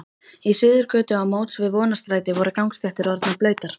Í Suðurgötu á móts við Vonarstræti voru gangstéttir orðnar blautar.